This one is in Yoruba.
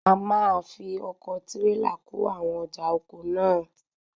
A máa fi ọkọ̀ tírélà kó àwọn ọjà oko náà náà.